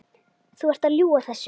Þú ert að ljúga þessu!